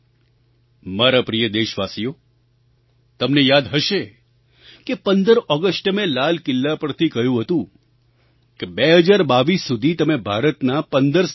મારા પ્રિય દેશવાસીઓ તમને યાદ હશે કે 15 ઑગસ્ટે મેં લાલ કિલ્લા પરથી કહ્યું હતું કે 2022 સુધી તમે ભારતનાં 15 સ્થાનો પર જાવ